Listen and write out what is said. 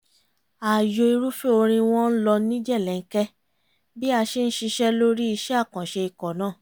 ààyò irúfẹ́ orin wọn ń lọ ní jẹ̀lẹ̀ńkẹ́ bí a ṣe ń ṣiṣẹ́ lórí iṣẹ́ àkànṣe ikọ̀ náà